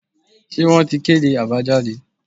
se won tí kedé abajadé